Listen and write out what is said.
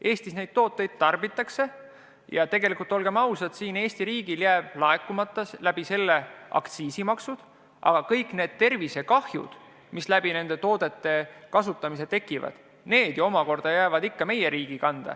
Eestis neid tooteid tarbitakse ja tegelikult, olgem ausad, jäävad Eesti riigile aktsiisimaksud laekumata, aga kogu kahju tervisele, mis nende toodete kasutamise tõttu tekib, jääb meie riigi kanda.